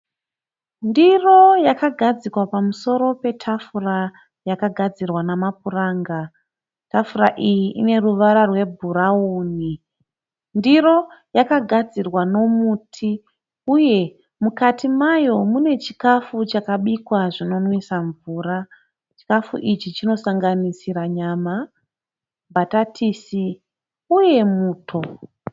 Ndiro yakagadzikwa pamusoro petafura yakagadzirwa nemapuranga. Tafura iyi ine ruvara rwebhurauni. Ndiro yakagadzirwa nemuti uye mukati mayo mune chikafu chakabikwa zvinonwisa mvura. Chikafu ichi chinosanganisira nyama, bhatatisi uye muto.